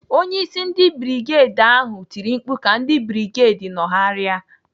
Onyeisi ndị brigedi ahụ tiri mkpu ka ndị brigedi nọgharịa.